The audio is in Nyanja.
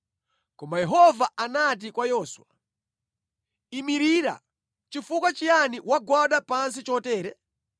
Koma Yehova anati kwa Yoswa, “Imirira! Chifukwa chiyani wagwada pansi chotere?